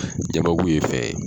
Jamaku ye fɛn ye